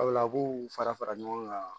Sabula a b'u fara fara ɲɔgɔn kan